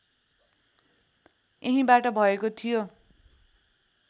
यहीँबाट भएको थियो